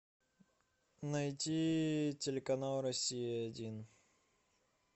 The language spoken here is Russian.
найти телеканал россия один